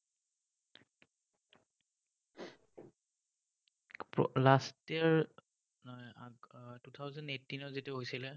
last year নহয়, আগৰ two thousand eighteen ত যিটো হৈছিলে,